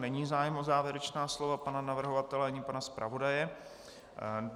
Není zájem o závěrečná slova pana navrhovatele ani pana zpravodaje.